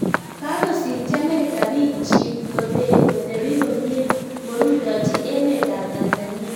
Kakosimchii Amerika piik chiik kotepii komie ngorutochin eemet ap Tanzania